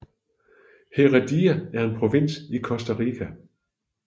Heredia er en provins i Costa Rica